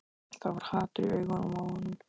Það var hatur í augunum á honum.